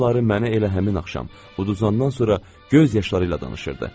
Onları mənə elə həmin axşam uduzandan sonra göz yaşlarıyla danışırdı.